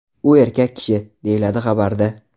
U erkak kishi”, – deyiladi xabarda.